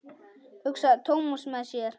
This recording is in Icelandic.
hugsaði Thomas með sér.